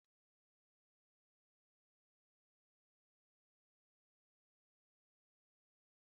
N'ime ime obodo, onye ọ bụla na-agbakọta maka oriri ji asụru asụ́ na ofe egusi.